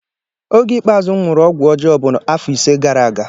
Oge ikpeazụ m nwụrụ ọgwụọjọọ bụ afọ ise gara aga